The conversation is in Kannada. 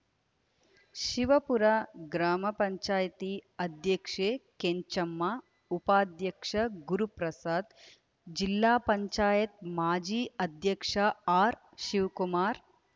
ಶಿವಪುರ ಗ್ರಾಮ ಪಂಚಾಯತಿ ಅಧ್ಯಕ್ಷೆ ಕೆಂಚಮ್ಮ ಉಪಾಧ್ಯಕ್ಷ ಗುರುಪ್ರಸಾದ್‌ಜಿಲ್ಲಾ ಪಂಚಾಯತ್ ಮಾಜಿ ಅಧ್ಯಕ್ಷ ಆರ್‌ಶಿವಕುಮಾರ್‌